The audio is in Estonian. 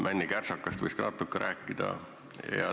Männikärsakast võiks ka natuke rääkida.